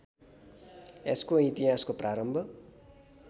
यसको इतिहासको प्रारम्भ